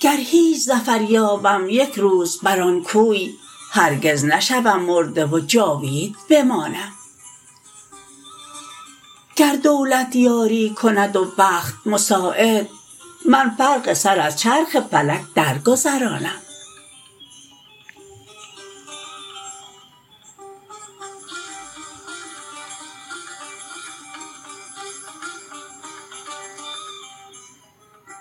گر هیچ ظفر یابم یک روز بر آن کوی هرگز نشوم مرده و جاوید بمانم گر دولت یاری کند و بخت مساعد من فرق سر از چرخ فلک در گذرانم